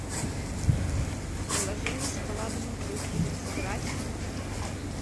приложение шоколадные трюфели сыграть в